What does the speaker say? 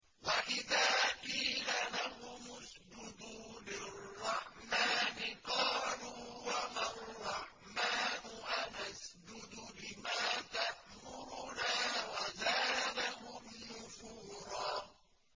وَإِذَا قِيلَ لَهُمُ اسْجُدُوا لِلرَّحْمَٰنِ قَالُوا وَمَا الرَّحْمَٰنُ أَنَسْجُدُ لِمَا تَأْمُرُنَا وَزَادَهُمْ نُفُورًا ۩